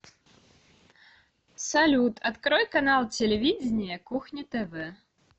салют открой канал телевидения кухня тв